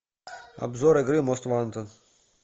обзор игры мост вантед